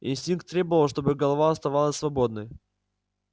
инстинкт требовал чтобы голова оставалась свободной